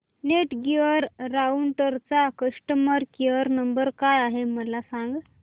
Netgear राउटरचा customer care number काय आहे मला सांग